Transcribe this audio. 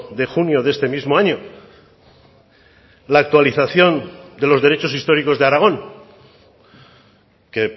de junio de este mismo año la actualización de los derechos históricos de aragón que